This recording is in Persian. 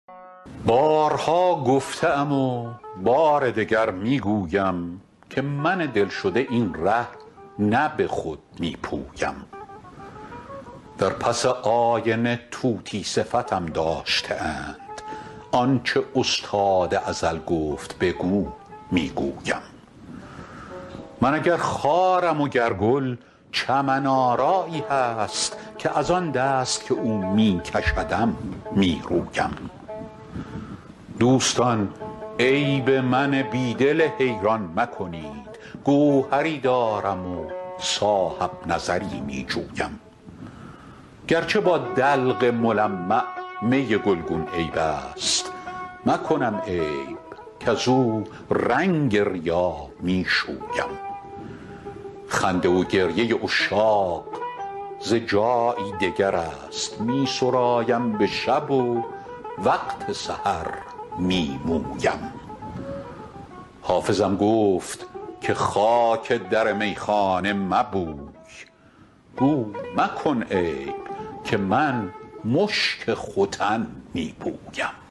بارها گفته ام و بار دگر می گویم که من دل شده این ره نه به خود می پویم در پس آینه طوطی صفتم داشته اند آن چه استاد ازل گفت بگو می گویم من اگر خارم و گر گل چمن آرایی هست که از آن دست که او می کشدم می رویم دوستان عیب من بی دل حیران مکنید گوهری دارم و صاحب نظری می جویم گر چه با دلق ملمع می گلگون عیب است مکنم عیب کزو رنگ ریا می شویم خنده و گریه عشاق ز جایی دگر است می سرایم به شب و وقت سحر می مویم حافظم گفت که خاک در میخانه مبوی گو مکن عیب که من مشک ختن می بویم